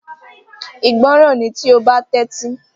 Ìgbọràn ni tí o ba Tẹ́tí